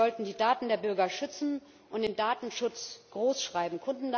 Wir sollten die Daten der Bürger schützen und den Datenschutz großschreiben.